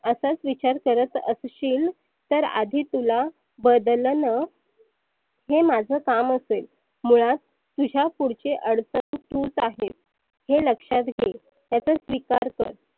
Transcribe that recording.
असच विचार करत असशील तर आधी तुला बदलनं हे माझ कामच आहे. मुळात तुझ्या पुढची अडचन तुच आहेस. हे लक्षात घे त्याचा स्विकार कर.